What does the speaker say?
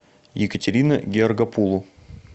екатерина георгопулу